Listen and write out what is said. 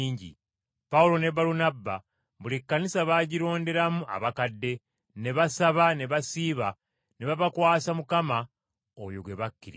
Pawulo ne Balunabba buli kkanisa baagironderamu abakadde. Ne basaba ne basiiba, ne babakwasa Mukama, oyo gwe bakkiriza.